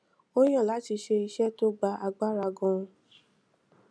ó yàn láti ṣe iṣé tó gba agbára ganan